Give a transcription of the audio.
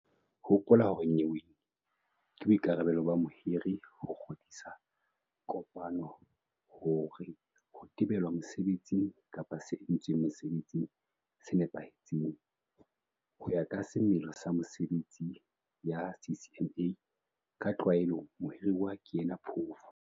Hopola hore nyeweng ke boikarabelo ba mohiri ho kgodisa kopano hore ho tebelwa mosebetsing kapa se entsweng mosebetsing se nepahetse. Ho ya ka semelo sa mesebetsi ya CCMA ka tlwaelo mohiruwa ke yena phofu.